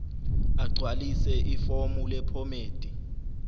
agcwalise ifomu lephomedi